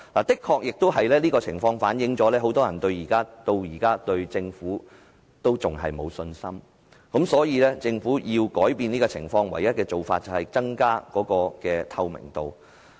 這正好反映現時很多人對政府仍然沒有信心，所以政府必須改變這種情況，而唯一的做法便是增加透明度。